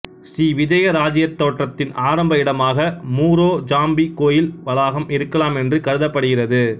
ஸ்ரீவிஜய இராச்சியத் தோற்றத்தின் ஆரம்ப இடமாக முரோ ஜாம்பி கோயில் வளாகம் இருக்கலாம் என்று கருதப்படுகிறது